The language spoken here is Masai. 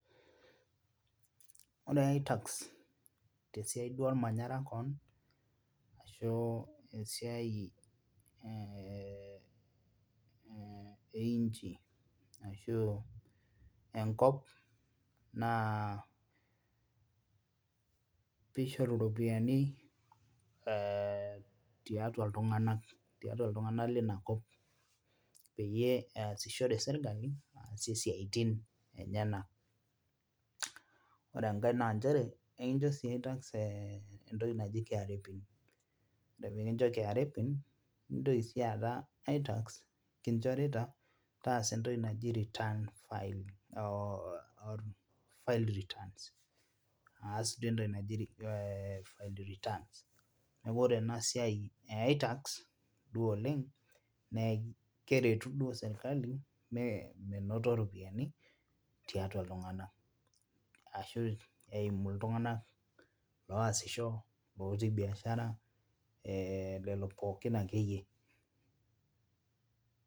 Ore itax tesiai duo ormanyara keon ashu esiai eh eh einchi ashu enkop naa piishoru iropiyiani tiatua iltung'anak tiatua iltung'anak lina kop peyie eyasishore sirkali aasie isiaitin enyena ore enkae nanchere ekincho sii itax entoki naji KRA pin ore pekincho KRA pin nintoki sii aata itax kinchorita taasa entoki naji return file or file returns aas duo entoki naji file returns niaku ore ena siai e itax duo oleng nee keretu duo sirkali me menoto iropiani tiatua iltung'ana ashu eimu iltung'ana loasisho otii biashara eh lelo pookin akeyie.